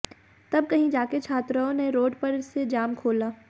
तब कहीं जाकर छात्राओं ने रोड पर से जाम खोला